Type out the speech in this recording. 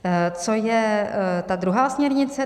Co je ta druhá směrnice?